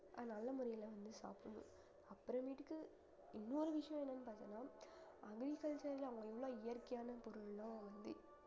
அத நல்ல முறையில வந்து சாப்பிடணும் அப்புறமேட்டுக்கு இன்னொரு விஷயம் என்னன்னு பாத்தீங்கன்னா agriculture ல அவங்க எவ்ளோ இயற்கையான பொருள்லாம் வந்து